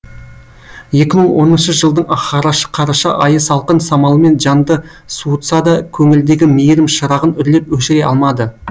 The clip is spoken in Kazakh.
екі мың оныншы жылдың қараша айы салқын самалымен жанды суытса да көңілдегі мейірім шырағын үрлеп өшіре алмады